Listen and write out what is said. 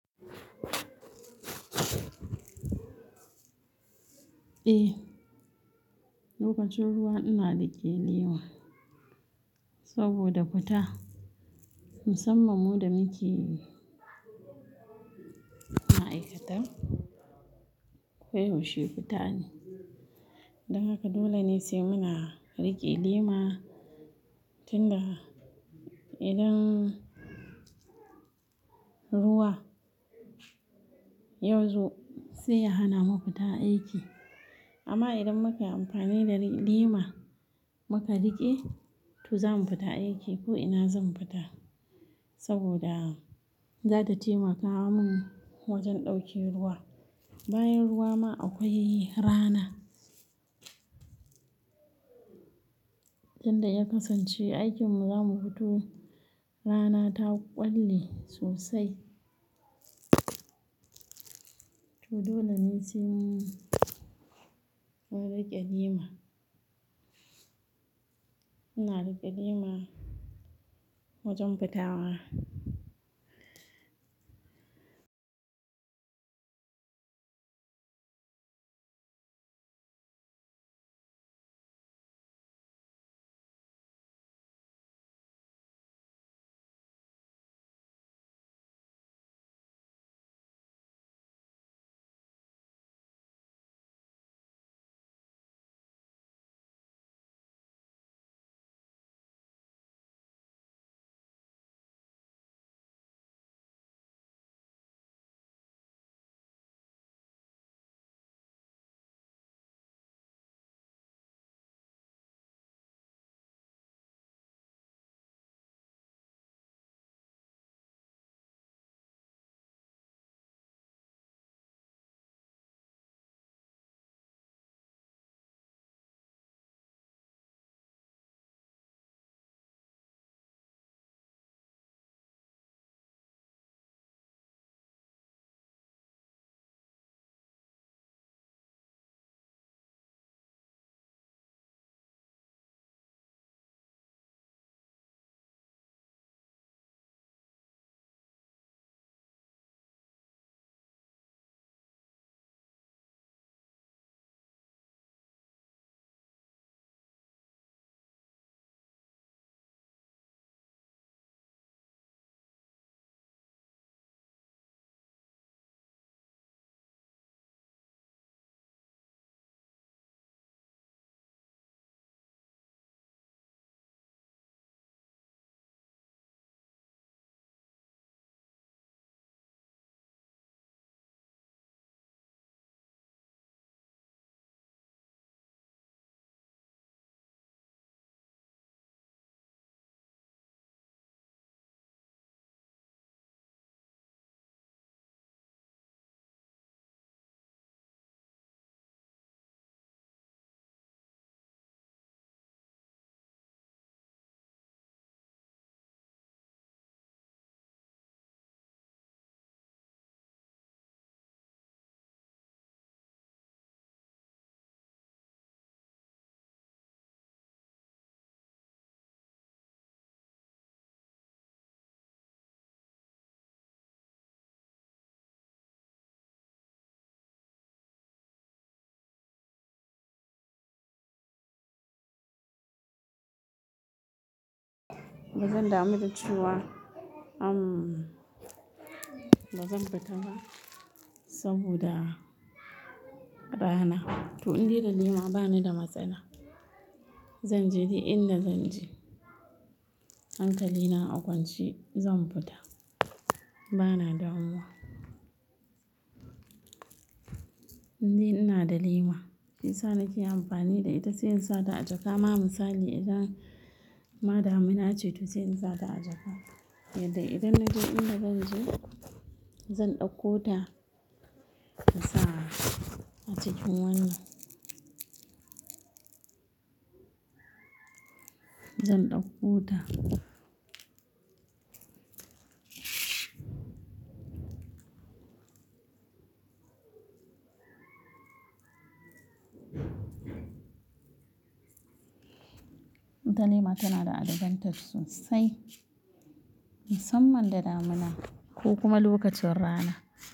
Eh, lokacin ruwa ina riƙe lema saboda fita. Musamman mu da muke ma'aikata koyaushe fita ne. Don haka dole ne sai muna riƙe lema tin da idan ruwa yazo sai ya hana mu fita aiki. Amma idan mukayi amfani da lema muka riƙe, toh zamu fita aiki ko ina zamu fita saboda zata taimaka mun wajen ɗauke ruwa. Bayan ruwa ma akwai rana. Tinda ya kasance aikinmu zamu fito rana ta ƙwalle sosai. To dole ne sai mun riƙe lema. Ina riƙe lema wajen fitawa. Ba zan damu da cewa, umm bazan fita ba saboda rana. To indai da lema bani da matsala. Zanje dik inda zanje. Hankali na a kwance zan fita. Bana damuwa. Indai inada lema shiyasai nake amfani da ita sai insa ta a jaka. Ma misali idan ma damina ace to sai in sa ta a jaka. Yadda idan naje inda zan je zan ɗauko ta insa a cikin wannan. Zan ɗauko ta. Ita lema tana da advantage sosai musamman da damina ko kuma lokacin rana.